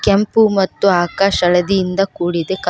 ಕೆಂಪು ಮತ್ತು ಆಕಾಶ್ ಹಳದಿ ಇಂದ ಕೂಡಿದೆ ಕಲ--